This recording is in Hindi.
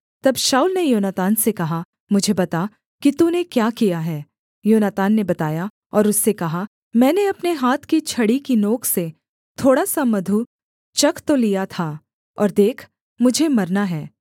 तब शाऊल ने योनातान से कहा मुझे बता कि तूने क्या किया है योनातान ने बताया और उससे कहा मैंने अपने हाथ की छड़ी की नोक से थोड़ा सा मधु चख तो लिया था और देख मुझे मरना है